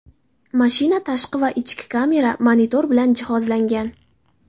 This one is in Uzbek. Mashina tashqi va ichki kamera, monitor bilan jihozlangan.